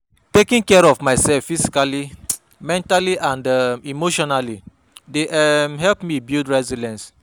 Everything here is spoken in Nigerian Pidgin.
Taking care of myself physically, mentally and um emotionally dey um help me build resilience.